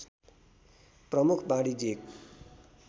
प्रमुख वाणिज्यिक